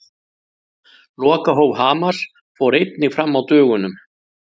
Lokahóf Hamars fór einnig fram á dögunum.